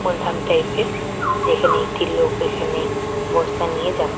ধান টাইপের যেখানে একটি লোক এখানে বস্তা নিয়ে যা--